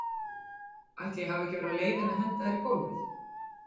Ætli ég hafi ekki verið á leiðinni að henda þér í gólfið?